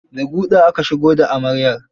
The guɗa aka shigo da amaryar.